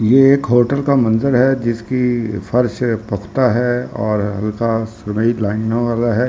ये एक होटल का मंदिर है जिसकी फर्स पख्ता है और हल्का सुरई लाइनो वाला है।